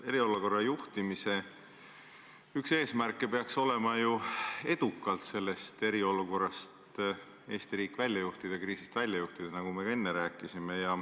Eriolukorra juhtimise üks eesmärke peaks olema ju edukalt sellest eriolukorrast Eesti riik välja juhtida, sellest kriisist välja juhtida, nagu me ka enne rääkisime.